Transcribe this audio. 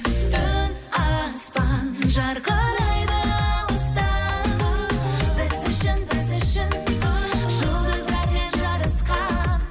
түн аспан жарқырайды алыстан біз үшін біз үшін жұлдыздармен жарысқан